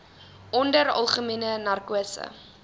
onder algemene narkose